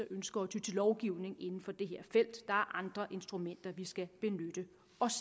ønsker at ty til lovgivning inden for det her felt der andre instrumenter vi skal benytte